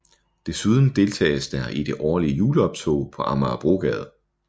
Desuden deltages der i det årlige juleoptog på Amagerbrogade